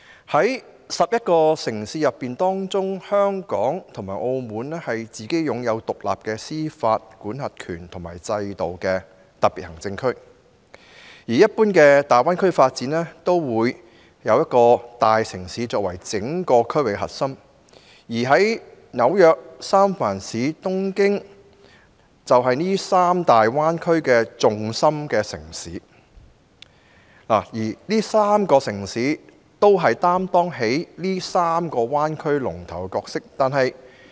在區內11個城市之中，香港和澳門是擁有獨立司法管轄權及制度的特別行政區，而一般大灣區的發展，則會以一個大城市作為整個區域的核心，例如紐約、三藩市及東京，就是三個大灣區的重心城市，這3個城市分別擔當3個灣區的龍頭角色。